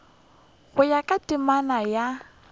go ya ka temana ya